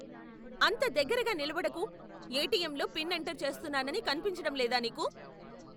అంత దగ్గరగా నిలబడకు! ఎటిఎంలో పిన్ ఎంటర్ చేస్తున్నాని కనిపించడం లేదా నీకు?